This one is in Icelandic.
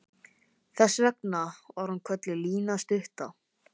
Þess vegna var hún kölluð Lína stutta.